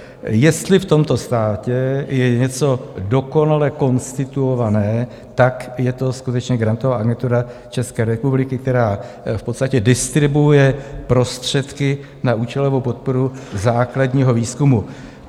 Jestli v tomto státě je něco dokonale konstituované, tak je to skutečně Grantová agentura České republiky, která v podstatě distribuuje prostředky na účelovou podporu základního výzkumu.